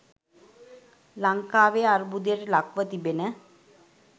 ලංකාවේ අර්බුදයට ලක්ව තිබෙන